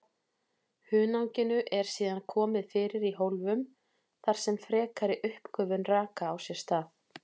Hunanginu eru síðan komið fyrir í hólfum þar sem frekari uppgufun raka á sér stað.